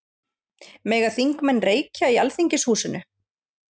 Mega þingmenn reykja í Alþingishúsinu?